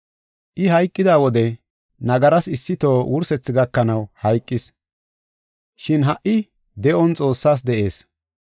I hayqida wode nagaras issitoho wursethi gakanaw hayqis, shin ha77i de7on Xoossaas de7ees.